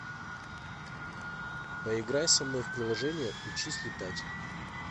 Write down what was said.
поиграй со мной в приложение учись летать